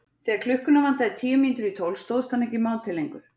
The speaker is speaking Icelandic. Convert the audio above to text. Þegar klukkuna vantaði tíu mínútur í tólf stóðst hann ekki mátið lengur.